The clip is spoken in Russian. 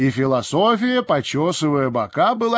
и философия почёсывая бока была